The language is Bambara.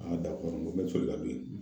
A da kɔnɔ n bɛ